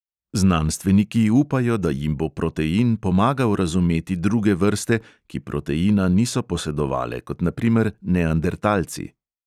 Znanstveniki upajo, da jim bo protein pomagal razumeti druge vrste, ki proteina niso posedovale, kot na primer neandertalci.